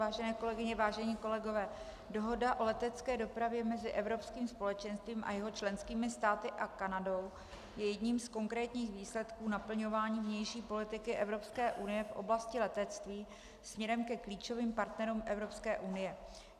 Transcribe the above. Vážené kolegyně, vážení kolegové, Dohoda o letecké dopravě mezi Evropským společenstvím a jeho členskými státy a Kanadou je jedním z konkrétních výsledků naplňování vnější politiky Evropské unie v oblasti letectví směrem ke klíčovým partnerům Evropské unie.